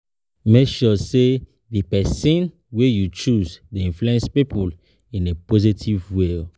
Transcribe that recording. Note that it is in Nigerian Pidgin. make sure say di persin wey you choose de influence pipo in a positive way